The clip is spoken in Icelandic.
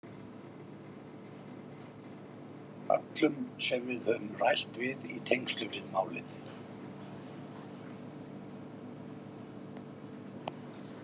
Öllum sem við höfum rætt við í tengslum við málið.